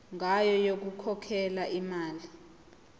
ngayo yokukhokhela imali